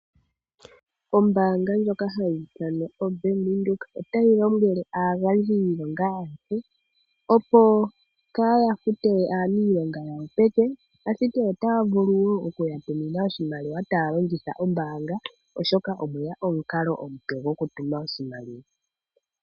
Ombaanga ndjoka hayi ithanwa oBank Windhoek otayi lombwele aagandji yiilonga ayehe opo kaya fute aanilonga yawo peke, ashike otaya vulu wo okuya tumina oshimaliwa taya longitha ombaanga oshoka omu na omukalo omupe gokutuma oshimaliwa.